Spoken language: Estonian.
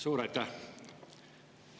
Suur aitäh!